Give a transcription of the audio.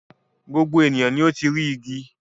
Gbogbo ènìyàn ni ó ti rí igi.